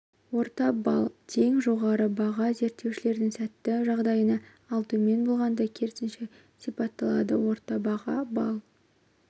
орта балл тең жоғары баға зерттеушілердің сәтті жағдайына ал төмен болғанда керісінше сипатталады орта баға балл